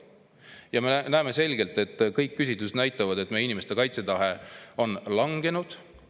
Ja me näeme selgelt – kõik küsitlused näitavad seda –, et meie inimeste kaitsetahe on langenud.